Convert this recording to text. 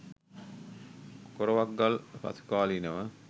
කොරවක් ගල් පසුකාලීනව